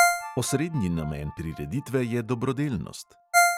Osrednji namen prireditve je dobrodelnost.